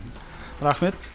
рахмет